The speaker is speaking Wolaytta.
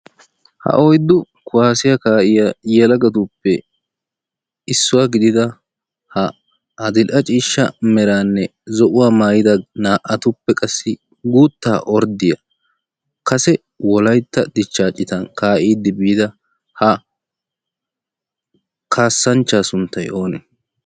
Ha oyiddu kuwaassiyaa ka'yaa yelaggatuppe issuwaa gididda ha adil'ee ciishsha meranne zo"uwaa maayida naa'attuppe qassi guutta ordiyaa kaasse wolaytta dichcha cittan kaa'iddi biidda ha kaasanchcha sunttay oone?